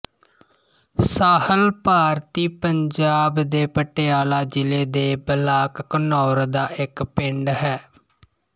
ਸਾਹਲ ਭਾਰਤੀ ਪੰਜਾਬ ਦੇ ਪਟਿਆਲਾ ਜ਼ਿਲ੍ਹੇ ਦੇ ਬਲਾਕ ਘਨੌਰ ਦਾ ਇੱਕ ਪਿੰਡ ਹੈ